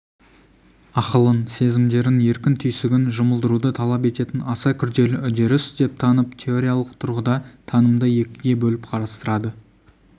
ақылын сезімдерін еркін түйсігін жұмылдыруды талап ететін аса күрделі үдеріс деп танып теориялық тұрғыда танымды екіге бөліп қарастырады